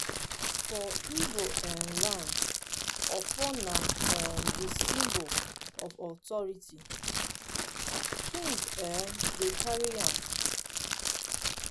for ibo um land ofo na um di symbol of authority. king um dem dey carry am.